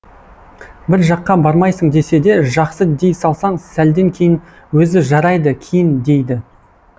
бір жаққа бармайсың десе де жақсы дей салсаң сәлден кейін өзі жарайды киін дейді